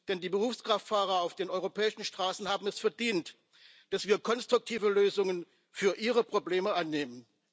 Denn die Berufskraftfahrer auf den europäischen Straßen haben es verdient, dass wir konstruktive Lösungen für ihre Probleme annehmen.